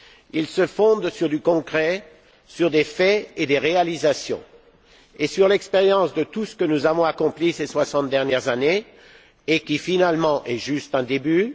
Il se fonde sur du concret, sur des faits et des réalisations et sur l'expérience de tout ce que nous avons accompli ces soixante dernières années et qui, finalement, est juste un début.